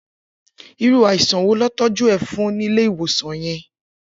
Irù áisàn wó lọ tọjù è fùn ni Ilé iwòsán yèn?